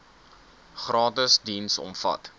gratis diens omvat